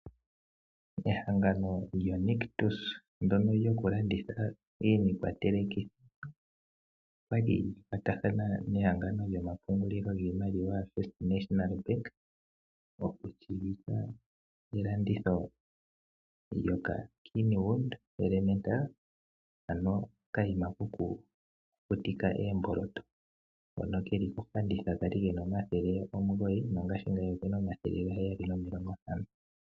Ehangano lyoNictus ndyono lyokulanditha iikwatelekitho olya li lya kwatathana nehangano lyomapungulilo giimaliwa lyoFirst National Bank okutseyitha elanditho lyokaKenwood Elementa, ano okayima kokukukutika oomboloto hono ke li kofanditha ka li ke na N$ 899 nongashingeyi oke na N$ 749.